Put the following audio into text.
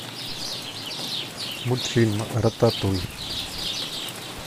мультфильм рататуй